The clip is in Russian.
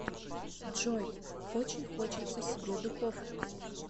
джой очень хочется себе духовку